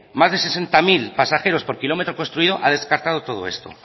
más de sesenta mil pasajeros por kilometro construido ha descartado todo esto